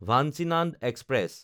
Vanchinad express